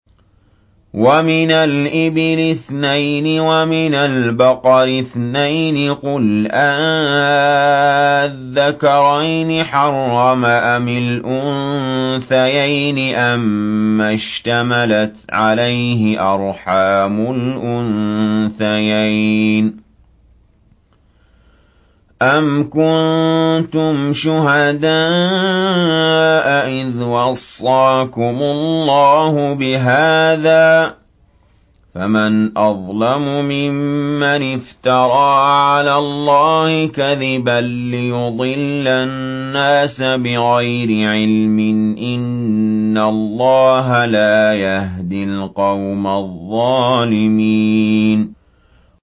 وَمِنَ الْإِبِلِ اثْنَيْنِ وَمِنَ الْبَقَرِ اثْنَيْنِ ۗ قُلْ آلذَّكَرَيْنِ حَرَّمَ أَمِ الْأُنثَيَيْنِ أَمَّا اشْتَمَلَتْ عَلَيْهِ أَرْحَامُ الْأُنثَيَيْنِ ۖ أَمْ كُنتُمْ شُهَدَاءَ إِذْ وَصَّاكُمُ اللَّهُ بِهَٰذَا ۚ فَمَنْ أَظْلَمُ مِمَّنِ افْتَرَىٰ عَلَى اللَّهِ كَذِبًا لِّيُضِلَّ النَّاسَ بِغَيْرِ عِلْمٍ ۗ إِنَّ اللَّهَ لَا يَهْدِي الْقَوْمَ الظَّالِمِينَ